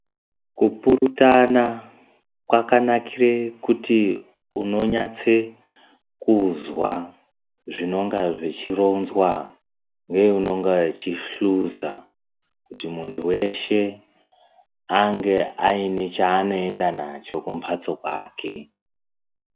Kupurutana kwakanakire kuti unonyatsekuzwa zvinonga zvichironzwa neanonga achidhluza kuti muntu weshe ange aine chaanoenda nacho kumbatso kwake.